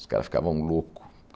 Os caras ficavam louco.